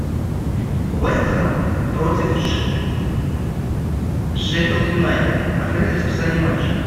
вест хэм против шеффилд юнайтед открыть расписание матчей